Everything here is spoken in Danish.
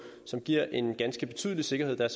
som giver en ganske betydelig sikkerhed der er